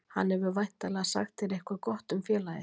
Hann hefur væntanlega sagt þér eitthvað gott um félagið?